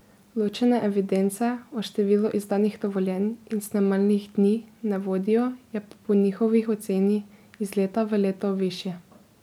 Ločene evidence o številu izdanih dovoljenj in snemalnih dni ne vodijo, je pa po njihovi oceni iz leta v leto višje.